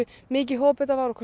mikið hop þetta var og hversu